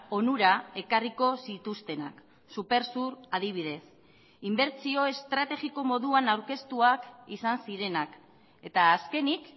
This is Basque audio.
onura ekarriko zituztenak supersur adibidez inbertsio estrategiko moduan aurkeztuak izan zirenak eta azkenik